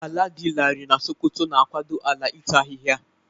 Ala dị larịị na Sokoto na-akwado ala ịta ahịhịa.